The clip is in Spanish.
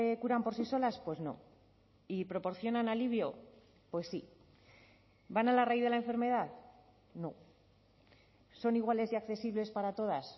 curan por sí solas pues no y proporcionan alivio pues sí van a la raíz de la enfermedad no son iguales y accesibles para todas